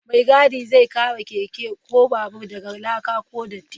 Mai gadi zai kare keke ko babur daga laka ko datti.